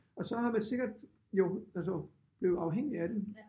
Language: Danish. Og så har man sikkert jo altså blevet afhængig af den